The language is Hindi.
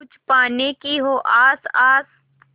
कुछ पाने की हो आस आस